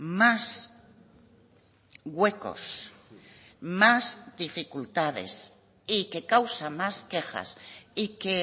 más huecos más dificultades y que causa más quejas y que